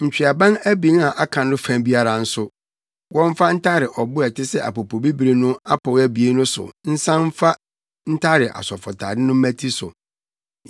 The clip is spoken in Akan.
ntweaban abien a aka no fa biara nso, wɔmfa ntare ɔbo a ɛte sɛ apopobibiri no apɔw abien no so nsan mfa ntare asɔfotade no mmati so.